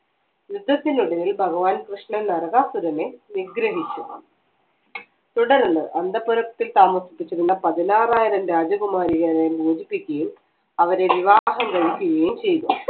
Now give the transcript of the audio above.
യുദ്ധത്തിനുള്ളിൽ ഭഗവാൻ കൃഷ്ണൻ നരകാസുരനെ നിഗ്രഹിച്ച് തുടർന്ന് അന്തപുരത്തിൽ താമസിച്ചിരുന്ന പതിനാറായിരം രാജകുമാരിയെ മോചിപ്പിക്കുകയും അവരെ വിവാഹം കഴിക്കുകയും ചെയ്തു